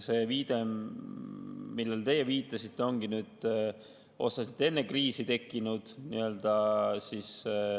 See, millele teie viitasite, ongi just enne kriisi tekkinud.